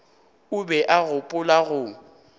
o be a gopola go